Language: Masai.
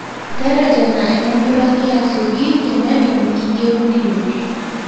teretena eninduraki asioki teneton iyeu nindur